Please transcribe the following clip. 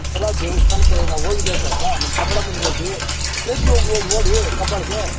ಇಷ್ಟೆಲ್ಲಾ ದೇವಸ್ಥಾನಕ್ಕೆ ಹೋಗಿ ನಾವು ಹೋಗಿದ್ವಿ ಅಲ್ವ ನಮ್ಮ್ ಕಬಾಳಮ್ಮ ನಿಗೆ ಹೋಗಿ ಪ್ರತಿಯೊಬ್ಬರು ನೋಡಿ ಕಬ್ಬಾಳ್ ಗೆ.